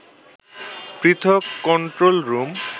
পৃথক control room